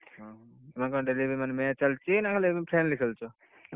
ଓଃ, ତମର କଣ ଏବେ daily match ଚାଲିଛି ନା ଏମିତି friendly ଖେଳୁଛ।